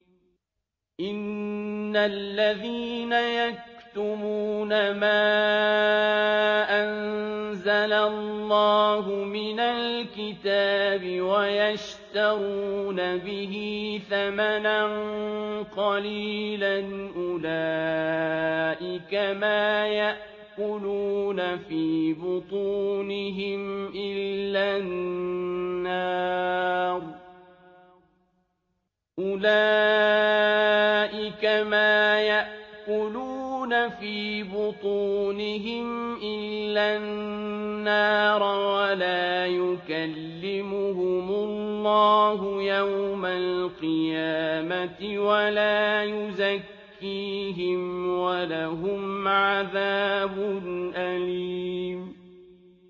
إِنَّ الَّذِينَ يَكْتُمُونَ مَا أَنزَلَ اللَّهُ مِنَ الْكِتَابِ وَيَشْتَرُونَ بِهِ ثَمَنًا قَلِيلًا ۙ أُولَٰئِكَ مَا يَأْكُلُونَ فِي بُطُونِهِمْ إِلَّا النَّارَ وَلَا يُكَلِّمُهُمُ اللَّهُ يَوْمَ الْقِيَامَةِ وَلَا يُزَكِّيهِمْ وَلَهُمْ عَذَابٌ أَلِيمٌ